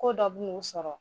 Ko dɔ bu n'u sɔrɔ.